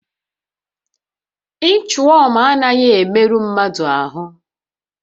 Inchwọm anaghị emerụ mmadụ ahụ